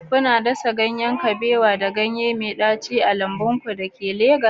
Kuna dasa ganye mai daci da ganyen kabewa a lambun ku da ke Legas?